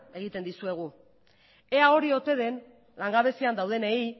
egiten dizuegu ea hori ote den langabezian daudenei